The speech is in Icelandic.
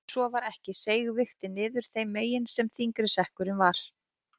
Ef svo var ekki seig vigtin niður þeim megin sem þyngri sekkurinn var.